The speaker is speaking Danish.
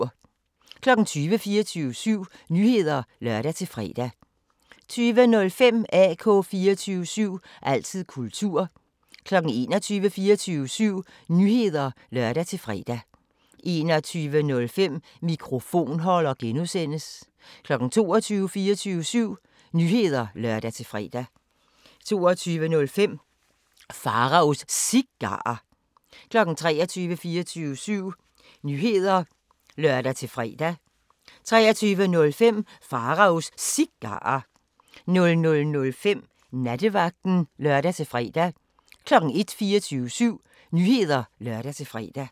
20:00: 24syv Nyheder (lør-fre) 20:05: AK 24syv – altid kultur 21:00: 24syv Nyheder (lør-fre) 21:05: Mikrofonholder (G) 22:00: 24syv Nyheder (lør-fre) 22:05: Pharaos Cigarer 23:00: 24syv Nyheder (lør-fre) 23:05: Pharaos Cigarer 00:05: Nattevagten (lør-fre) 01:00: 24syv Nyheder (lør-fre)